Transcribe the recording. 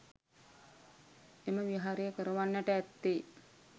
එම විහාරය කරවන්නට ඇත්තේ